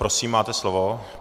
Prosím, máte slovo.